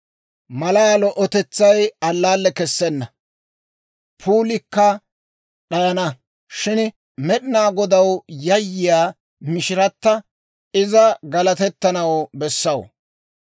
Malaa lo"otetsay allaalle kessenna; puulikka d'ayana; shin Med'inaa Godaw yayyiyaa mishirata, iza galatettanaw bessaw.